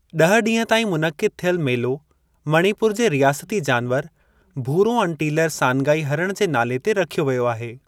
ॾह ॾींहं ताईं मुनक़िद थियल, मेलो मणिपुर जे रियासती जानवरु, भूरो-अनटीलर सानगाई हरणु जे नाले ते रखियो व्यो आहे।